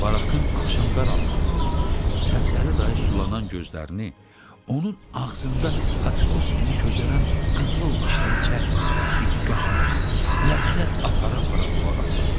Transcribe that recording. Barakın axşam qaranlığında Səbzəli dayı sulanan gözlərini onun ağzında papiros kimi közərən qızıl dişdən çəkməyərək diqqətlə ləzzət apara-apara qulaq asardı.